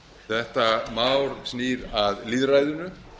þetta mál snýr að lýðræðinu